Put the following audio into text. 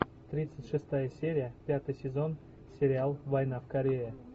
тридцать шестая серия пятый сезон сериал война в корее